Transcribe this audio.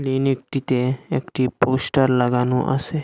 এইনে একটিতে একটি পোস্টার লাগানো আসে।